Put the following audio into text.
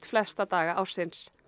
flesta daga ársins